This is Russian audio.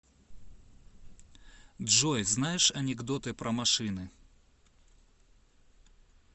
джой знаешь анекдоты про машины